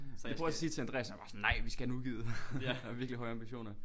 Så jeg prøver at sige det til Andreas jeg var bare sådan nej vi skal have den udgivet har virkelig høje ambitioner